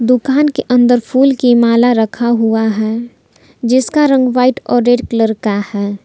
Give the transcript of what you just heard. दुकान के अंदर फूल की माला रखा हुआ है जिसका रंग व्हाइट और रेड कलर का है।